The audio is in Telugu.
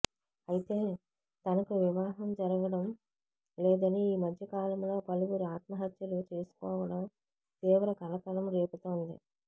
అయితే తనకు వివాహం జరగడం లేదని ఈ మధ్యకాలంలో పలువురు ఆత్మహత్యలు చేసుకోవడం తీవ్ర కలకలం రేపుతోంది